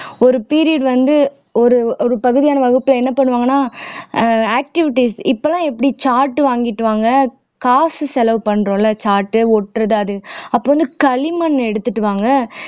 ஒரு period வந்து ஒரு ஒரு பகுதியான வகுப்பிலே என்ன பண்ணுவாங்கன்னா ஆஹ் activities இப்போ எல்லாம் எப்படி chart வாங்கிட்டு வாங்க காசு செலவு பண்றோம்ல chart ஒட்டுறது அது அப்புறம் வந்து களிமண் எடுத்துட்டு வாங்க